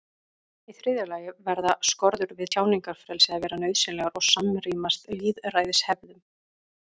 í þriðja lagi verða skorður við tjáningarfrelsi að vera nauðsynlegar og samrýmast lýðræðishefðum